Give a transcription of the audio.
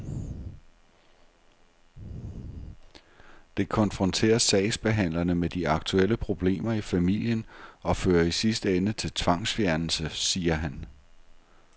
Det konfronterer sagsbehandlerne med de aktuelle problemer i familien og fører i sidste ende til tvangsfjernelse, siger han.